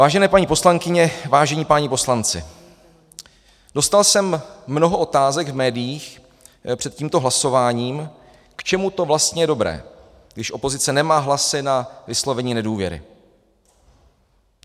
Vážené paní poslankyně, vážení páni poslanci, dostal jsem mnoho otázek v médiích před tímto hlasováním, k čemu to vlastně je dobré, když opozice nemá hlasy na vyslovení nedůvěry.